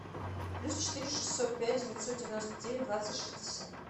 плюс четыре шестьсот пять девятьсот девяносто девять двадцать шестьдесят